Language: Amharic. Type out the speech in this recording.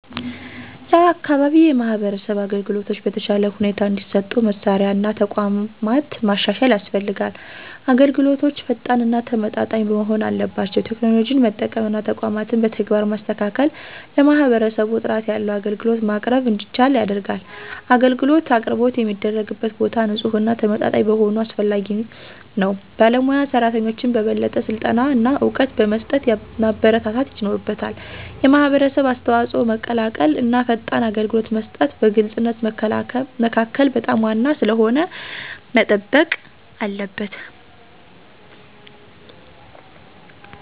የአካባቢ የማህበረሰብ አገልግሎቶች በተሻለ ሁኔታ እንዲሰጡ መሳሪያ እና ተቋማት ማሻሻል ያስፈልጋል። አገልግሎቶች ፈጣን እና ተመጣጣኝ መሆን አለባቸው። ቴክኖሎጂን መጠቀም እና ተቋማትን በተግባር ማስተካከል ለማህበረሰቡ ጥራት ያለው አገልግሎት ማቅረብ እንዲቻል ያደርጋል። አገልግሎት አቅርቦት የሚደረግበት ቦታ ንፁህና ተመጣጣኝ መሆኑ አስፈላጊ ነው። ባለሞያ ሰራተኞችን በበለጠ ስልጠና እና እውቀት በመስጠት ማበረታታት ይኖርበታል። የማህበረሰብ አስተዋጽኦ መቀላቀል እና ፈጣን አገልግሎት መስጠት በግልፅነት መካከል በጣም ዋና ስለሆነ መጠበቅ አለበት።